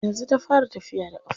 Yanzu ta fara tafiya da ƙafarta.